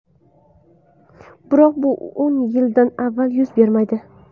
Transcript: Biroq bu o‘n yildan avval yuz bermaydi.